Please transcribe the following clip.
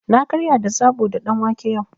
Na karya da zaɓo da ɗanwake yau.